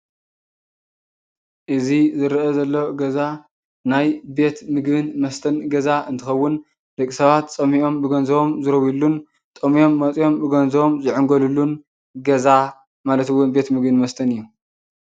እዙይ ዝርኣ ዘሎ ገዛ ናይ ቤት ምግብን መስተን ገዛ እንትኸውን ደቂ ሰባት ፅምኦም ብገንዞቦም ዝረውይሉን ጠምዮም መፅእዮም ብገንዘቦም ዝዕንገልሉን ገዛ ማለት እውን ቤት ምግቢ መስተን እዩ።